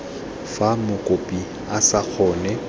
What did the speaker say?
fa mokopi a sa kgone